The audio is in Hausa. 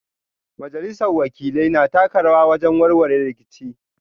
Majalisar Wakilai na taka rawa wajen warware rikici